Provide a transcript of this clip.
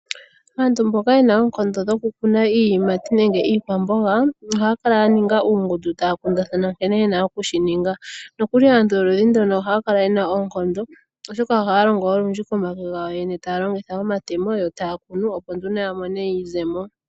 Aantu mboka yena oonkondo dhokukuna iiyimati nenge iikwamboga ohayakala yeli muungundu tayakundathana nkene yena oku shi ninga. Ohaya Kala yena oonkondo oshoka olundji ohayalongo komake, Taya longitha omatemo yo tayakunu opo yamono ne eteyo lili nawa.